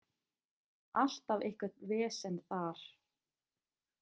Alltaf eitthvert vesen þar.